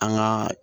An ka